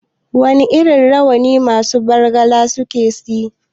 Wane irin rawa ne masu Bargalar suke yi?